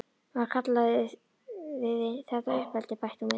Varla kalliði þetta uppeldi, bætti hún við.